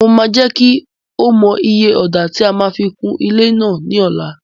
Mo máa jẹ́ kí o mọ iye ọ̀dà tí a máa fi kun ilé náà ní ọ̀la.